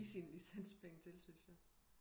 Give sine licenspenge til syntes jeg